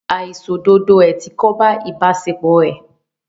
Àìṣòdodo ẹ̀ ti kóbá ìbáṣepọ̀ ẹ́.